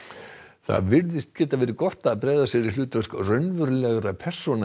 það getur verið gott að bregða sér í hlutverk raunverulegra persóna en